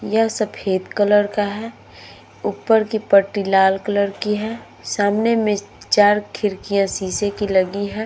यह सफ़ेद कलर का है। ऊपर की पट्टी लाल कलर की है। सामने में चार खिड़कियाँ शीशे की लगी हैं।